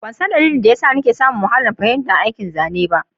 Ban san dalilin da ya sa nikan sami wahalar fahimtar aikin zane b